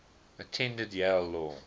attended yale law